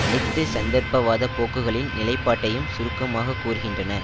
அனைத்துச் சந்தர்ப்பவாதப் போக்குகளின் நிலைப்பாட்டையும் சுருக்கமாக கூறுகின்றன